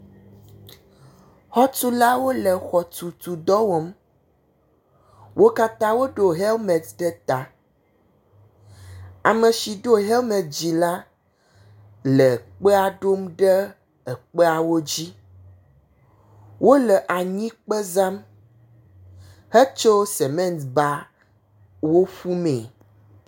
Xɔtulawo le xɔtutu dɔ wɔm, wo katã woɖo hemeti ɖe ta. Ame si ɖo hemeti la le kpea ɖom ɖe ekpeawo dzi. Wole anyikpe zam hetso semetiba wo ƒu mee.